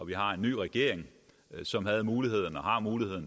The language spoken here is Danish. vi har en ny regering som har muligheden